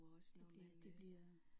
Det bliver det bliver